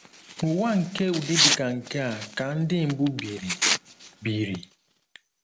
N’ụwa nke ụdị dị ka nke a ka Ndị mbụ biri, biri